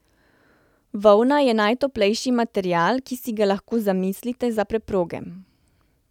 Volna je najtoplejši material, ki si ga lahko zamislite za preproge.